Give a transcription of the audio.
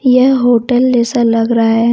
यह होटल जैसा लग रहा है।